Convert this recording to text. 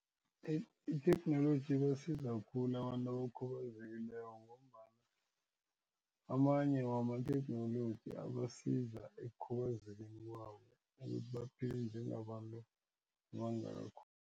Itheknoloji ibasiza khulu abantu abakhubazekileko ngombana amanye wamatheknoloji abasiza ekukhubazekeni kwabo ukuthi baphile njengabantu bangakho.